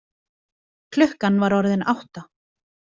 Klukkan var orðin átta.